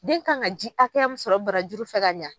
Den kan ka ji hakɛya mun sɔrɔ barajuru fɛ ka ɲa.